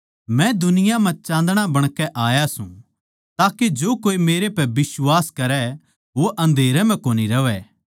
मै दुनिया म्ह चाँदणा बणाकै आया सूं ताके जो कोए मेरै पै बिश्वास करै वो अँधेरे म्ह कोनी रहवै